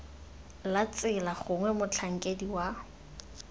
la tsela gongwe motlhankedi wa